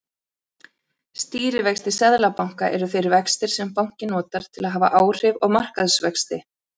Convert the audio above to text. Stýrivextir seðlabanka eru þeir vextir sem bankinn notar til að hafa áhrif á markaðsvexti.